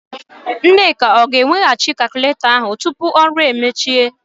Nneka ọ ga-ewegachị kalkụletọ ahụ tupu ọrụ emechie?